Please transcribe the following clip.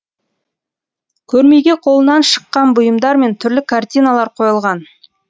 көрмеге қолынан шыққан бұйымдар мен түрлі картиналар қойылған